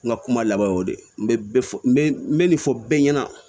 N ka kuma laban y'o de ye n bɛ fɔ n bɛ n bɛ nin fɔ bɛɛ ɲɛna